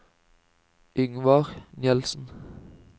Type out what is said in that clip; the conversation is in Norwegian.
Yngvar Nielsen